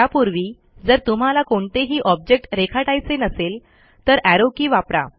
त्यापूर्वी जर तुम्हाला कोणतेही ऑब्जेक्ट रेखाटायचे नसेल तर एरो के वापरा